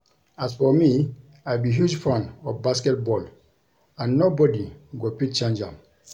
As for me, I be huge fan of basket ball and nobody go fit change am